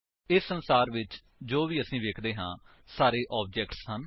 ਇਸ ਸੰਸਾਰ ਵਿੱਚ ਜੋ ਵੀ ਅਸੀ ਵੇਖ ਸੱਕਦੇ ਹਾਂ ਸਾਰੇ ਆਬਜੇਕਟਸ ਹਨ